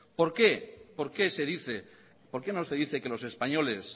por qué se dice por qué no se dice que los españoles